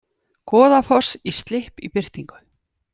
Goðafoss í slipp í birtingu